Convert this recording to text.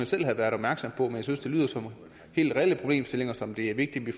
selv har været opmærksom på men jeg synes det lyder som helt reelle problemstillinger som det er vigtigt vi